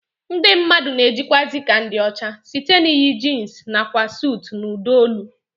Ndị mmadụ na-ejikwazi ka ndị ọcha site n'iyi jins nakwa suut na ụdọ olu